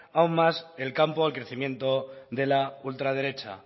aún más el campo de crecimiento de la ultraderecha